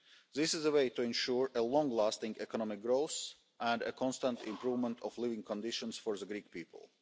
This is the way to ensure long lasting economic growth and a constant improvement of living conditions for the Greek people.